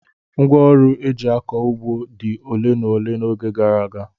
Ngwá ọrụ eji akọ ụgbọ dị ole na ole n'oge gara aga.